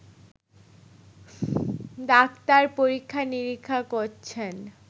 Doctor পরীক্ষা-নিরীক্ষা করছেন।